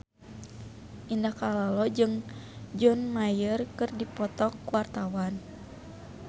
Indah Kalalo jeung John Mayer keur dipoto ku wartawan